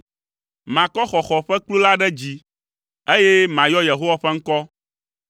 Makɔ xɔxɔ ƒe kplu la ɖe dzi, eye mayɔ Yehowa ƒe ŋkɔ.